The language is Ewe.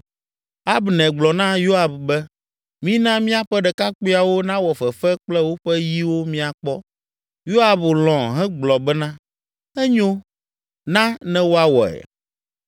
Abner gblɔ na Yoab be, “Mina míaƒe ɖekakpuiawo nawɔ fefe kple woƒe yiwo míakpɔ!” Yoab lɔ̃ hegblɔ bena, “Enyo, na ne woawɔe.”